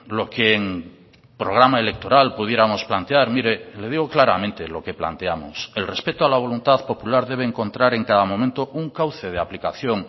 lo que en programa electoral pudiéramos plantear mire le digo claramente lo que planteamos el respeto a la voluntad popular debe encontrar en cada momento un cauce de aplicación